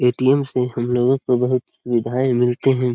ATM. से हम लोगो को बहुत सुविधाए मिलते हैं।